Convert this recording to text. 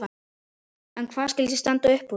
En hvað skyldi standa uppúr?